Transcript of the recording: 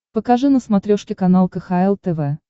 покажи на смотрешке канал кхл тв